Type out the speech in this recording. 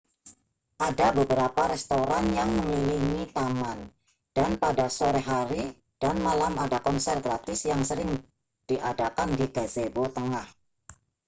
ada beberapa restoran yang mengelilingi taman dan pada sore hari dan malam ada konser gratis yang sering diadakan di gazebo tengah